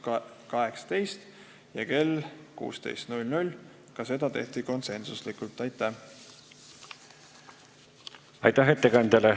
Aitäh ettekandjale!